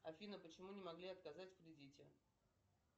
афина почему мне могли отказать в кредите